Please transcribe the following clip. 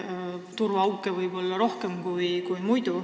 Turvaauke on ju praegu rohkem.